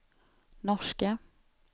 norska